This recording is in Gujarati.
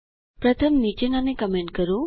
પ્રથમ નીચેનાને કમેન્ટ કરો